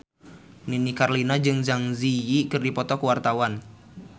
Nini Carlina jeung Zang Zi Yi keur dipoto ku wartawan